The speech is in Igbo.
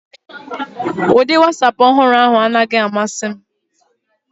Ụdị Wasapu ọhụrụ ahụ anaghị amasị m